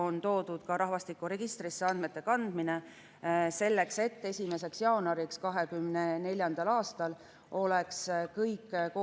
Nagu öeldud, olen teie ees perekonnaseaduse ja teiste seaduste muutmise eelnõuga, mille menetlemist alustas Riigikogu 16. mail käesoleval aastal, mil toimus ka ettevalmistus esimeseks lugemiseks.